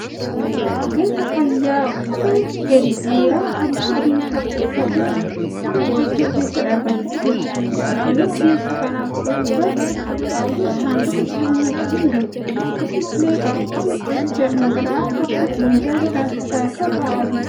Ogeessa fayyaa uffata gadi dheeraa halluu adii qabu uffatee mana qorichaa keessa dhaabbachaa jiruudha. Naannoo ogeessa kanaa qorichoota baay'ee saanduqa isaanii waliin jiru. Akkasumallee qaruuraan qoricha dhangala'aa qaban minjaala dhaabbataa irra ta'aa jiru.